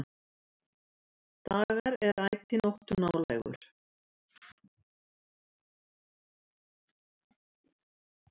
Dagar er ætíð nóttu nálægur.